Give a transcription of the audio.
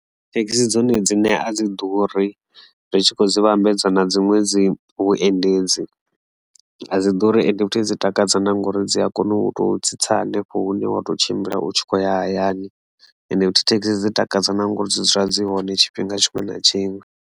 Thekhisi dzone dzine a dzi ḓuri ri tshi khou dzi vhambedza na dzi ṅwedzi vhuendedzi a dzi ḓuri ende vhuthihi dzi takadza nda ngori dzi a kona u to tsitsa hanefho hune wa to tshimbila u tshi khou ya hayani ende futhi Thekhisi dzi takadza na ngori dzi dzula dzi hone tshifhinga tshiṅwe na tshiṅwe.